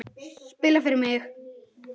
Spila fyrir mig?